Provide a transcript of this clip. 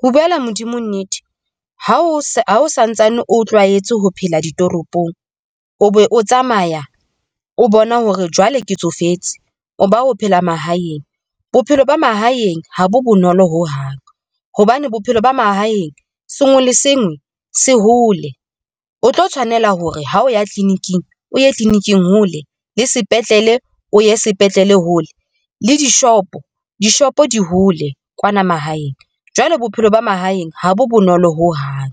Ho buela Modimo nnete, ha o santsane o tlwaetse ho phela ditoropong o be o tsamaya o bona hore jwale ke tsofetse, o ba o phela mahaeng. Bophelo ba mahaeng ha bo bonolo ho hang hobane bophelo ba mahaeng sengwe le sengwe se hole, o tlo tshwanela hore ha o ya clinic-ing o ye clinic-ing hole le sepetlele, o ye sepetlele, hole le di-shop-o, d-ishop-o di hole kwana mahaeng. Jwale bophelo ba mahaeng ha bo bonolo ho hang,